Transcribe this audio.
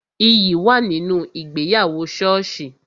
Iyì wà nínú ìgbéyàwó soosi